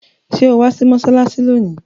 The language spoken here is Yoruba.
Sọ wá sí mọ́ṣáláṣí lónìí?